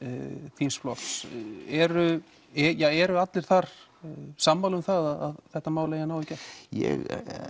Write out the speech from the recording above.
þíns flokks eru eru allir þar sammála um það að þetta mál eigi að ná í gegn ég